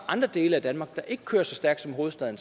andre dele af danmark der ikke kører så stærkt som hovedstaden